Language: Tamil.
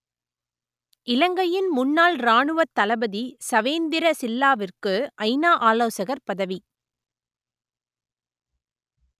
இலங்கையின் முன்னாள் இராணுவத் தளபதி சவேந்திர சில்லாவிற்கு ஐநா ஆலோசகர் பதவி